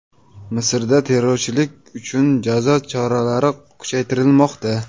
Misrda terrorchilik uchun jazo choralari kuchaytirilmoqda .